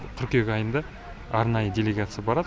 қыркүйек айында арнайы делегация барады